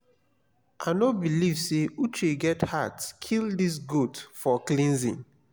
i no believe say uche get heart kill dis goat for cleansing